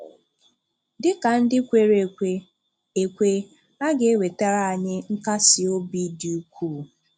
Dị ka ndị kwèrè ekwè, ekwè, a ga-ewètàrà anyị nkàsí òbì dị ukwuu.